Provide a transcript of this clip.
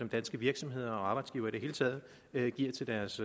danske virksomheder og arbejdsgivere i det hele taget giver til deres